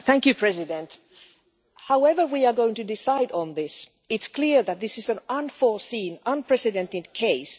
Madam President, however we are going to decide on this, it is clear that this is an unforeseen, unprecedented case.